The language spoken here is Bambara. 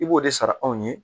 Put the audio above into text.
I b'o de sara anw ye